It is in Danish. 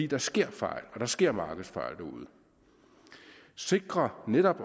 der sker fejl og der sker markedsfejl og sikre netop